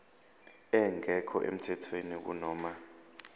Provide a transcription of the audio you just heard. engekho emthethweni kunoma